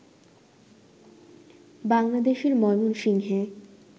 বাংলাদেশের ময়মনসিংহে